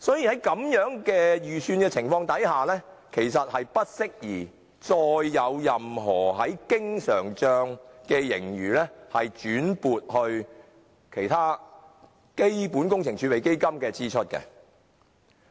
因此，在如此的預算情況下，其實是不適宜把經常帳盈餘撥作其他基本工程儲備基金以應付有關支出。